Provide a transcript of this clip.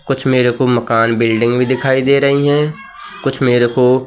कुछ मेरे को मकान बिल्डिंग भी दिखाई दे रही हैं कुछ मेरे को--